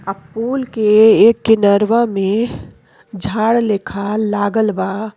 और पूल के एक किनारो में झाड़ लेखा लगवल बा।